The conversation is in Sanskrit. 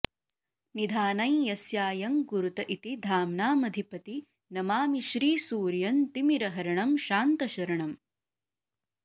निधानं यस्यायं कुरुत इति धाम्नामधिपति नमामि श्रीसूर्यं तिमिरहरणं शान्तशरणम्